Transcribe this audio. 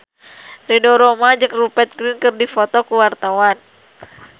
Ridho Roma jeung Rupert Grin keur dipoto ku wartawan